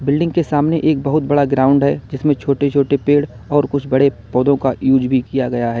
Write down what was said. Building के सामने एक बहुत बड़ा ग्राउंड है जिसमें छोटे छोटे पेड़ और कुछ बड़े पौधों का यूज भी किया गया है।